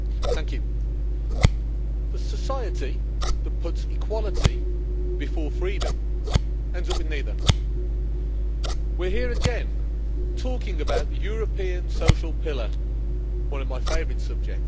Madam President, the society that puts equality before freedom ends up with neither. We're here again, talking about the European social pillar, one of my favourite subjects.